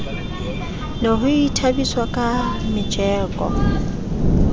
ne ho ithabiswa ka metjeko